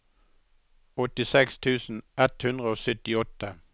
åttiseks tusen ett hundre og syttiåtte